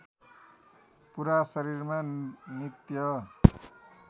पुरा शरीरमा नित्य